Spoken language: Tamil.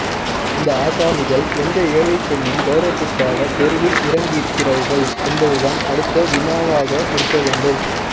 இந்த ஆசாமிகள் எந்த ஏழைப்பெண்ணின் கௌரவத்துக்காக தெருவில் இறங்கியிருக்கிறார்கள் என்பதுதான் அடுத்த வினாவாக இருக்கவேண்டும்